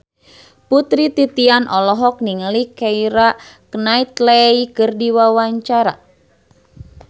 Putri Titian olohok ningali Keira Knightley keur diwawancara